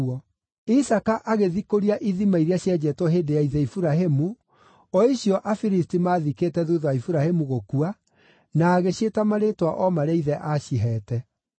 Isaaka agĩthikũria ithima iria cienjetwo hĩndĩ ya ithe Iburahĩmu, o icio Afilisti maathikĩte thuutha wa Iburahĩmu gũkua, na agĩciĩta marĩĩtwa o marĩa ithe aacihete.